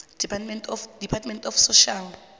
department of social